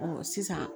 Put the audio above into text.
sisan